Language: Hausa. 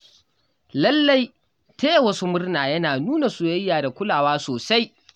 Lallai Taya wasu murna yana nuna soyayya da kulawa sosai.